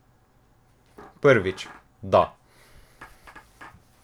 Prvič, da.